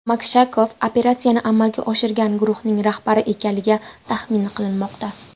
Makshakov operatsiyani amalga oshirgan guruhning rahbari ekanligi taxmin qilinmoqda.